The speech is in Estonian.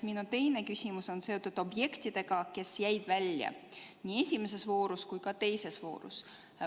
Minu teine küsimus on seotud objektidega, mis jäid välja nii esimeses kui ka teises voorus.